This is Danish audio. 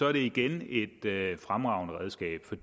at det igen er et fremragende redskab for